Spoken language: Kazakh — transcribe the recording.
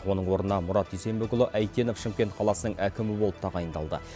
оның орнына мұрат дүйсенбекұлы әйтенов шымкент қаласының әкімі болып тағайындалды